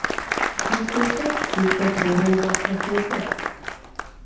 trettiosex tusen tvåhundratrettiosex